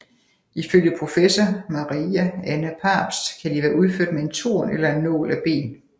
Ifølge professor Maria Anna Pabst kan de være udført med en torn eller en nål af ben